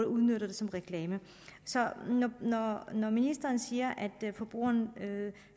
udnyttes til reklame når ministeren siger at forbrugeren